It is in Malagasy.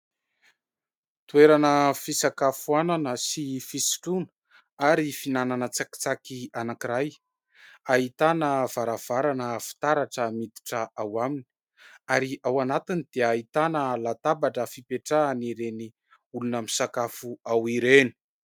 Toerana fisakafoanana sy fisotroana ary fihinanana tsakitsaky anankiray. Ahitana varavarana fitaratra miditra ao aminy ary ao anatiny dia ahitana latabatra fipetrahan'ireny olona misakafo ao ireny.